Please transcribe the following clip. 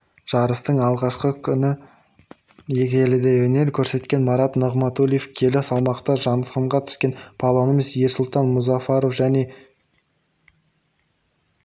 жарыстың алғашқы күні келіде өнер көрсеткен марат нығматуллаев келі салмақта сынға түскен палуанымыз ерсұлтан мұзафаров және